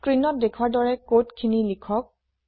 স্ক্ৰীনত দেখোৱাৰ দৰে কোড খিনি লিখক